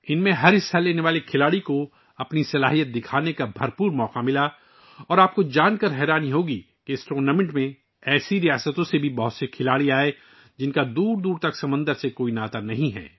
اس میں ہر کھلاڑی کو اپنا ٹیلنٹ دکھانے کا کافی موقع ملا اور آپ کو یہ جان کر حیرت ہوگی کہ اس ٹورنامنٹ میں بہت سے کھلاڑی ان ریاستوں سے آئے تھے جن کا سمندر سے کوئی تعلق ہی نہیں ہے